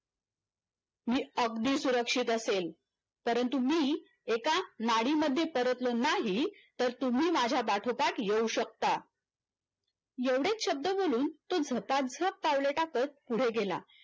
मी अगदी सुरक्षित असेल परंतु मी एका नाडी मध्ये परतलो नाही तर तुम्ही माझ्या पाठोपाठ येऊ शकता एवढेच शब्द बोलून तो झपाझप पावलं टाकत पुढे गेला